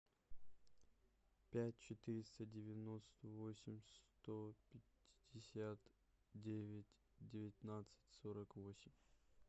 пять четыреста девяносто восемь сто пятьдесят девять девятнадцать сорок восемь